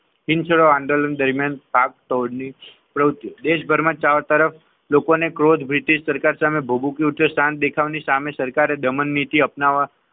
In short આંદોલન દરમિયાન દેશભરમાં ચારો તરફ લોકોમાં બ્રિટિશ સરકાર સરકાર સામે ક્રોધ ભભૂકી ઉઠ્યો. ની સામે સરકારે દમનનીતિ અપનાવી.